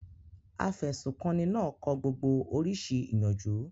Afẹ̀sùnkanni náà kọ gbogbo oríṣi ìyànjú.